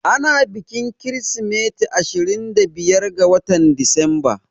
Ana bikin kirismeti ashirin da biyar ga watan Disamba